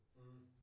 Mh